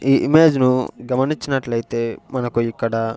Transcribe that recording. ఈ ఇమేజ్ ను గమనించినట్లయితే మనకు ఇక్కడ--